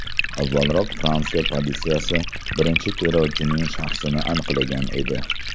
Avvalroq Fransiya politsiyasi birinchi terrorchining shaxsini aniqlagan edi.